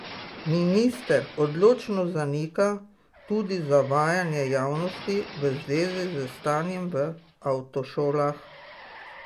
Minister odločno zanika tudi zavajanje javnosti v zvezi s stanjem v avtošolah.